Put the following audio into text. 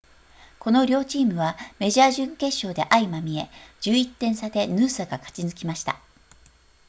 この両チームはメジャー準決勝で相まみえ11点差でヌーサが勝ち抜きました